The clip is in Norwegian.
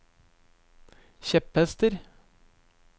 kjepphester